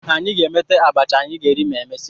Anyị ga-emeta abacha anyị ga-eri ma emesịa